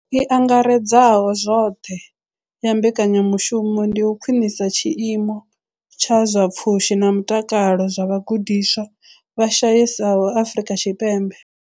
I angaredzaho zwoṱhe ya mbekanyamushumo ndi u khwinisa tshiimo tsha zwa pfushi na mutakalo zwa vhagudiswa vha shayesaho Afrika Tshipembe.